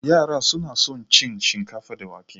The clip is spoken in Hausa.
Yara suna son cin shinkafa da wake.